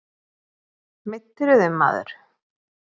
Meiddirðu þig maður?